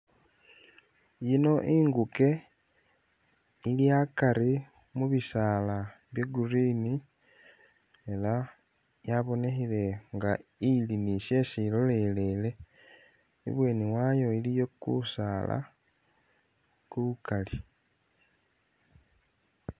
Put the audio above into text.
Ino inkuke ili akari mu'bisaala bya' green elah yabonekhile nga ili ni shesi ilolelele, ibweni wayo iliwo kusaala kukaali